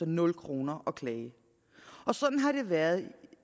nul kroner at klage sådan har det været